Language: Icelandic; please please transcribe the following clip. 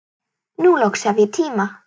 Nú loksins hef ég tíma.